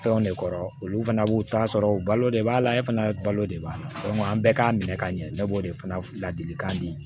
Fɛnw de kɔrɔ olu fana b'u ta sɔrɔ u balo de b'a la e fana balo de b'a la an bɛɛ k'a minɛ ka ɲɛ bɛɛ b'o de fana ladilikan di